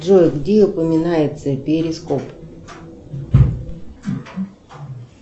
джой где упоминается перископ